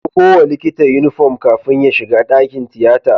A ɗauko wa likita inufom kafin ya shiga dakin tiyata